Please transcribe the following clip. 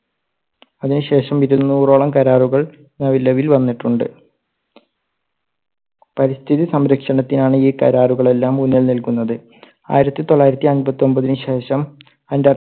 അതിനു ശേഷം ഇരുന്നൂറോളം കരാറുകൾ നിലവിൽ വന്നിട്ടുണ്ട്. പരിസ്ഥിതി സംരക്ഷണത്തിനാണ് ഈ കരാറുകൾ എല്ലാം മുന്നിൽ നിൽക്കുന്നത്. ആയിരത്തി തൊള്ളായിരത്തി അമ്പത്തൊമ്പതിന് ശേഷം അന്റാർ~